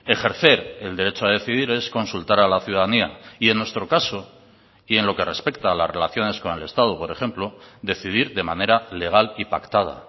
ejercer el derecho a decidir es consultar a la ciudadanía y en nuestro caso y en lo que respecta a las relaciones con el estado por ejemplo decidir de manera legal y pactada